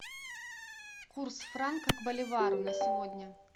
курс франка к боливару на сегодня